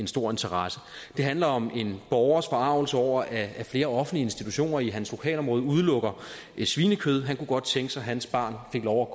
stor interesse den handler om en borgers forargelse over at flere offentlige institutioner i hans lokalområde udelukker svinekød han kunne godt tænke så hans barn fik lov